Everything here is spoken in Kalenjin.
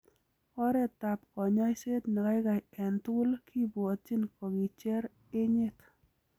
Oretab konyoiset nekaikai en tugul kibwotyin kokicher enyet.